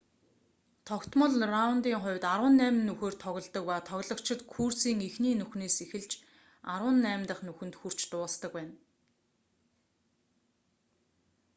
тогтмол раундын хувьд арван найман нүхээр тоглодог ба тоглогчид курсын эхний нүхнээс эхэлж арван найм дахь нүхэнд хүрч дуусдаг байна